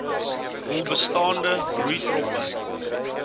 hul bestaande broeitroppe